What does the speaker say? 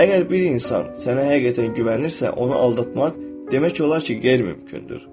Əgər bir insan sənə həqiqətən güvənirsə, onu aldatmaq demək olar ki, qeyri-mümkündür.